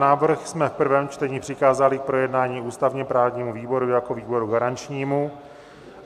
Návrh jsme v prvém čtení přikázali k projednání ústavně-právnímu výboru jako výboru garančnímu.